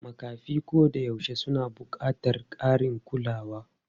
Makafi koyaushe suna buƙatar ƙarin kulawa.